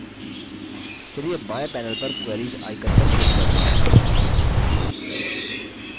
चलिए बाएं panel पर queries icon पर click करते हैं